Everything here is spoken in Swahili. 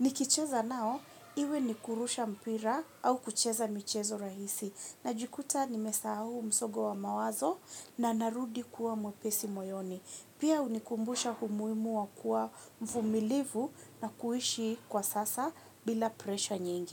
Ni kicheza nao, iwe ni kurusha mpira au kucheza michezo rahisi, na jikuta ni mesahau msogo wa mawazo na narudi kuwa mwepesi moyoni. Pia hunikumbusha humuimu wa kuwa mfumilivu na kuishi kwa sasa bila presha nyingi.